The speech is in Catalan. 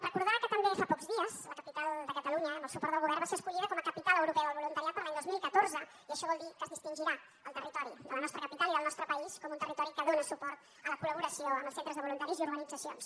recordar que també fa pocs dies la capital de catalunya amb el suport del govern va ser escollida com a capital europea del voluntariat per a l’any dos mil catorze i això vol dir que es distingirà el territori de la nostra capital i del nostre país com un territori que dóna suport a la col·laboració amb els centres de voluntaris i organitzacions